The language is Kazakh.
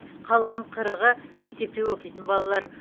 қалған қырығы мектепте оқитын балалар